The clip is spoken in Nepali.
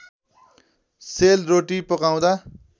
सेल रोटी पकाउँदा